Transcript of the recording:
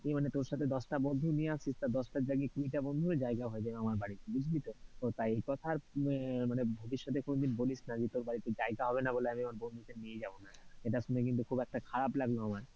মানে তোর সাথে দশটা বন্ধু নিয়ে আসিস, আর দশটার জায়গায় কুড়িটা বন্ধুরও জায়গা হয়ে যাবে আমার বাড়িতে বুঝলি তো, তাই একথা আর মানে ভবিষ্যতে কোনদিন বলিস না যে তোর বাড়িতে জায়গা হবে না বলে আমি আমার বন্ধুদের নিয়ে যাবনা, এটা শুনে কিন্তু খুব একটা খারাপ লাগলো আমার,